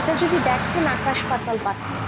এটা যদি দেখেন আকাশ পাতাল পার্থক্য,